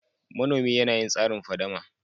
Manomi yana yin tsarin fadama.